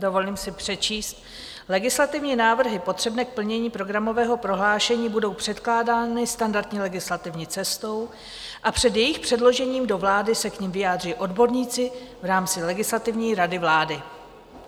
Dovolím si přečíst: "Legislativní návrhy potřebné k plnění programového prohlášení budou předkládány standardní legislativní cestou a před jejich předložením do vlády se k nim vyjádří odborníci v rámci Legislativní rady vlády."